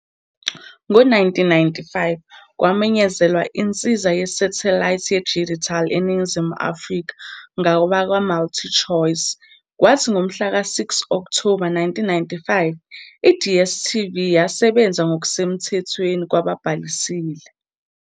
Ngo-1995 kwamenyezelwa insiza yesathelayithi yedijithali eNingizimu Afrika ngabakwaMultichoice kwathi ngomhlaka 6 Okthoba 1995 iDStv yasebenza ngokusemthethweni kwababhalisile.